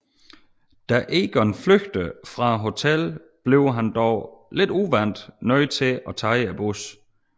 Da Egon flygter fra hotellet bliver han dog lidt uvant nød til at tage bussen